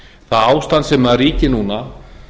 það ástand sem ríkir núna